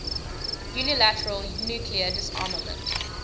unilateral nuclear disarmament